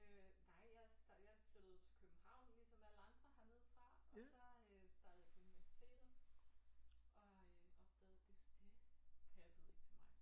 Øh nej jeg jeg flyttede til København ligesom alle andre hernedefra og så øh startede jeg på universitetet og øh opdagede det det passede ikke til mig